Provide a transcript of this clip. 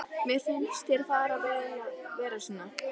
Mér finnst þér fara vel að vera svona.